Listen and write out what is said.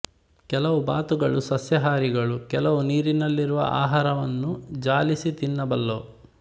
ಕೆಲವು ಬಾತುಗಳು ಸಸ್ಯಾಹಾರಿಗಳು ಕೆಲವು ನೀರಿನಲ್ಲಿರುವ ಆಹಾರವನ್ನು ಜಾಲಿಸಿ ತಿನ್ನಬಲ್ಲವು